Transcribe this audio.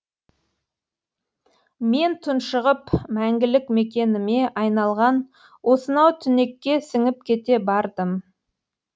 мен тұншығып мәңгілік мекеніме айналған осынау түнекке сіңіп кете бардым